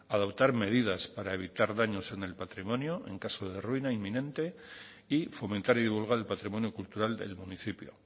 adoptar medidas para evitar daños en el patrimonio en caso de ruina inminente y fomentar y divulgar el patrimonio cultural del municipio